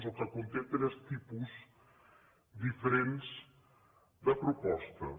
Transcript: o que conté tres tipus diferents de propostes